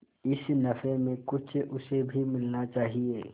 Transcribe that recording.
इस नफे में कुछ उसे भी मिलना चाहिए